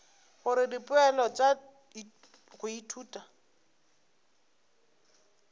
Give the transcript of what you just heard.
gore dipoelo tša go ithuta